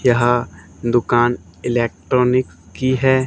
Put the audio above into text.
यह दुकान इलेक्ट्रॉनिक की है।